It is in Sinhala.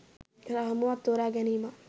රාමුවක් තෝරා ගැනීමක්.